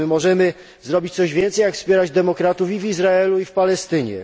Czy możemy zrobić coś więcej jak wspierać demokratów w Izraelu i Palestynie?